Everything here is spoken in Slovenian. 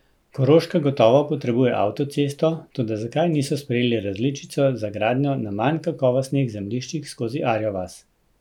Koroška gotovo potrebuje avtocesto, toda zakaj niso sprejeli različico za gradnjo na manj kakovostnih zemljiščih skozi Arjo vas?